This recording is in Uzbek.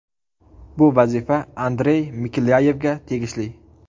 Bu vazifa Andrey Miklyayevga tegishli.